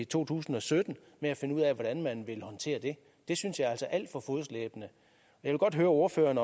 to tusind og sytten med at finde ud af hvordan man vil håndtere det det synes jeg er alt for fodslæbende jeg vil godt høre ordføreren